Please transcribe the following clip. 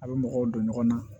A bɛ mɔgɔw don ɲɔgɔn na